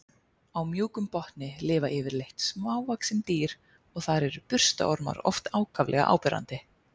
Á mjúkum botni lifa yfirleitt smávaxin dýr og þar eru burstaormar oft ákaflega áberandi.